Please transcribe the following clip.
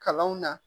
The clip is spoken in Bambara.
Kalanw na